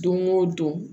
Don o don